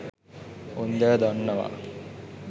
උන්දැ දන්නවා